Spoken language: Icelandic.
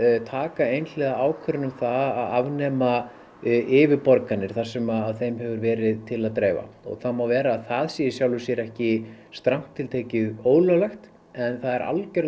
taka einhliða ákvörðun um það að afnema yfirborganir þar sem að þeim hefur verið til að dreyfa það má vera að það sé í sjálfu sér ekki strangt til tekið ólöglegt en það er